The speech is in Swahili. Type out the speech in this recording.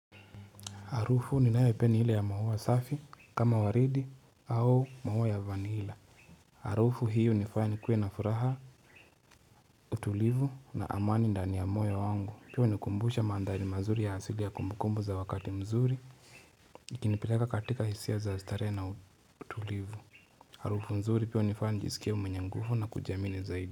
Hrufu ninayo ipenda ni ile ya maua safi kama waridi au maua ya vanila. Harufu hiyo hunifanya nikuwe na furaha, utulivu na amani ndani ya moyo wangu. Pia hunikumbusha mandhari mazuri ya asili ya kumbukumbu za wakati mzuri. Ikinipeleka katika hisia za starehe na utulivu. Harufu nzuri pia hunifanya nijisikie mwenye nguvu na kujiamini zaidi.